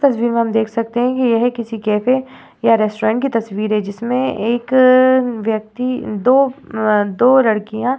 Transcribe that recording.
तस्वीर में हम देख सकते है की यह किसी कैफे या रेस्टॉरंट तस्वीर है जिसमे एक व्यक्ति दो अ दो लड़किया --